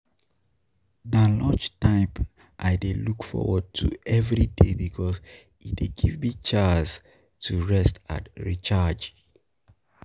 Na lunchtime I dey look forward to every day because e dey give me a chance to rest and recharge.